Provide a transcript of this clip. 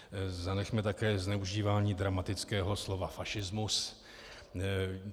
Zanechme také zneužívání dramatického slova fašismus.